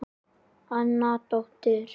Anna dóttir